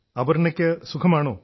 അപർണ്ണയ്ക്കു സുഖമാണോ